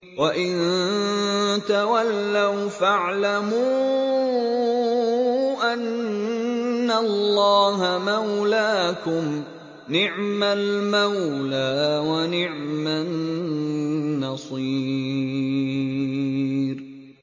وَإِن تَوَلَّوْا فَاعْلَمُوا أَنَّ اللَّهَ مَوْلَاكُمْ ۚ نِعْمَ الْمَوْلَىٰ وَنِعْمَ النَّصِيرُ